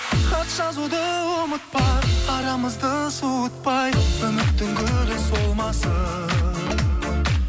хат жазуды ұмытпа арамызды суытпай үміттің гүлі солмасын